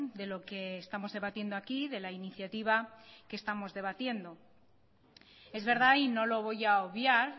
de lo que estamos debatiendo aquí de la iniciativa que estamos debatiendo es verdad y no lo voy a obviar